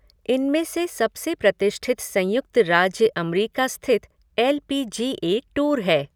इनमें से सबसे प्रतिष्ठित संयुक्त राज्य अमरिका स्थित L P G A tour है।